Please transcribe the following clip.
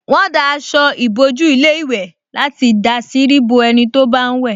Wọ́n dá aṣọ ìbòjú ilé ìwẹ̀ láti dàsírí bo ẹni tó bá ń wẹ̀